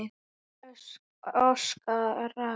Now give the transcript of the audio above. Hann öskrar.